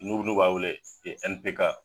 Nu nu b'a wele N. P. K.